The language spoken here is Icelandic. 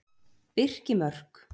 Birkimörk